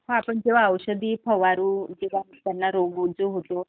मग आपण जेंव्हा औषधं फवारू जेंव्हा त्यांना रोग होतो